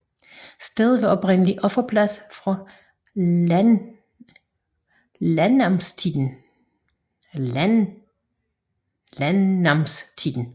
Stedet var oprindelig offerplads fra landnamstiden